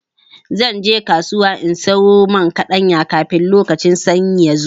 Zan je kasuwa in sayo man kaɗanya, kafin lokacin sanyi ya zo.